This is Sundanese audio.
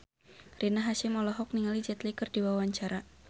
Rina Hasyim olohok ningali Jet Li keur diwawancara